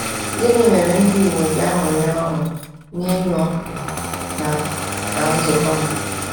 Gịnị mere ndị Igbo ji aṅụrị ọṅụ n’ịnọ na na nzukọ ha?